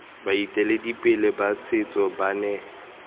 baeteledipele ba setso ba ne